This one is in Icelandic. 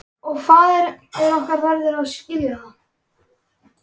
Og faðir okkar verður að skilja það.